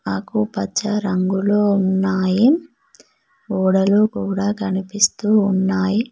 ఆకుపచ్చ రంగులో ఉన్నాయి గోడలు కూడా కనిపిస్తూ ఉన్నాయి.